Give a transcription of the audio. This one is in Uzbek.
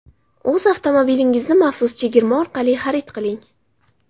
O‘z avtomobilingizni maxsus chegirma orqali xarid qiling.